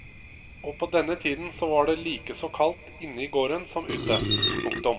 Og på denne tiden så var det likeså kaldt inne i gården som ute. punktum